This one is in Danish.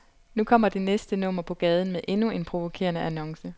Nu kommer det næste nummer på gaden med endnu en provokerende annonce.